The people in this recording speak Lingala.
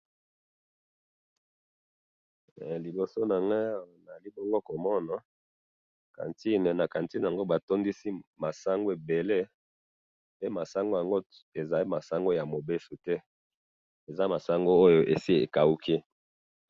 Na moni cantine oyo ba tondisi masangu ya ko kauka.